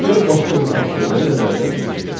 Gəlin başqa bir tapşırığı nəzərdən keçirdək.